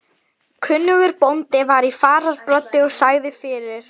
Kunnugur bóndi var í fararbroddi og sagði fyrir.